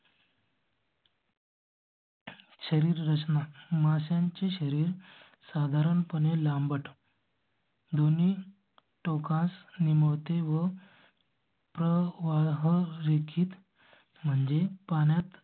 शरीररचना माशा चे शरीर साधारणपणे लांबट. दोन्ही टोकास निमुळ ते व. आह रेखित म्हणजे पाच